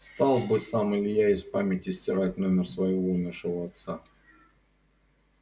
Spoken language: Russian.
стал бы сам илья из памяти стирать номер своего умершего отца